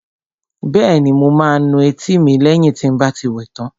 Bẹ́ẹ̀ni, mo máa nu etí mi lẹ́yìn tí n bá ti wẹ tán